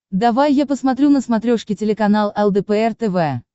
давай я посмотрю на смотрешке телеканал лдпр тв